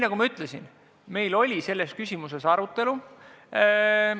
Nagu ma ütlesin, meil oli selles küsimuses arutelu.